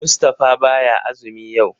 Mustapha baya azumi yau.